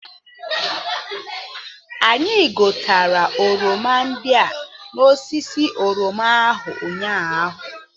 Anyị ghọtara oroma ndị a n'osisi oroma ahụ ụnyaahụ